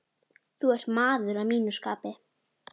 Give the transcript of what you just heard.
Þú ert maður að mínu skapi.